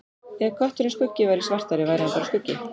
Ef kötturinn Skuggi væri svartari væri hann bara skuggi.